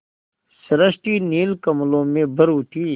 सृष्टि नील कमलों में भर उठी